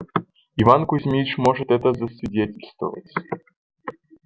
иван кузмич может это засвидетельствовать